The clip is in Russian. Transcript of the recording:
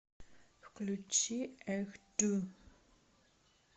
включи эх ду